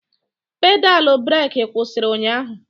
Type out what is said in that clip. Pedal breeki kwụsịrị ụnyahụ.